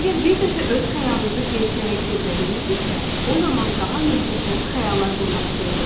Əgər bir dəfə öz xəyalınızı gerçəyə çevirə bilmisinizsə, o zaman daha möhtəşəm xəyallar qurmaq istəyəcəksiniz.